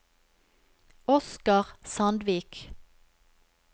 Oscar Sandvik